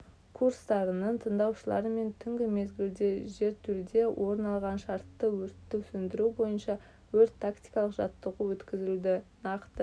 курстарының тыңдаушыларымен түнгі мезгілде жертөледе орын алған шартты өртті сөндіру бойынша өрт-тактикалық жаттығу өткізілді нақты